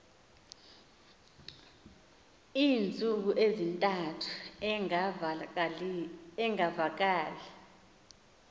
iintsuku ezintathu engavakali